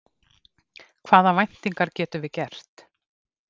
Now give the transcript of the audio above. Hvaða væntingar getum við gert?